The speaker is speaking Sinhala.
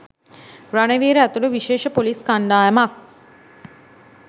රණවීර ඇතුළු විශේෂ පොලිස්‌ කණ්‌ඩායමක්